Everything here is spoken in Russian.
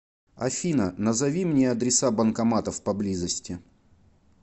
афина назови мне адреса банкоматов поблизости